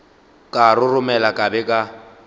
ka roromela ka be ka